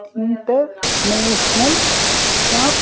International shop .